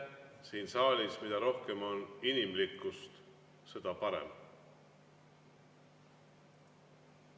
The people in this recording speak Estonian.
Siin saalis mida rohkem on inimlikkust, seda parem.